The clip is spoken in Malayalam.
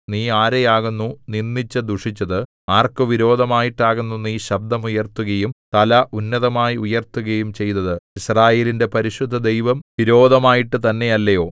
നീ ആരെയാകുന്നു നിന്ദിച്ചു ദുഷിച്ചത് ആർക്ക് വിരോധമായിട്ടാകുന്നു നീ ശബ്ദം ഉയർത്തുകയും തല ഉന്നതമായി ഉയർത്തുകയും ചെയ്തത് യിസ്രായേലിന്റെ പരിശുദ്ധദൈവം വിരോധമായിട്ടു തന്നെയല്ലയോ